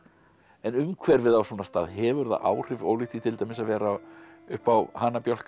en umhverfið á svona stað hefur það áhrif ólíkt því til dæmis að vera uppi á